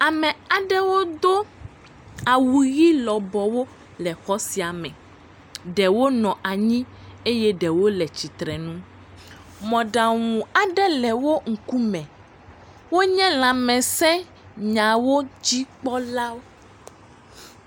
Ame aɖewo do awu ʋi lɔbɔwo le xɔ sia me. Ɖewo nɔ anyi eye ɖewo le tsitre nu. Mɔɖaŋu aɖe le wo ŋkume. Wonye lãmesẽnyawo dzikpɔla.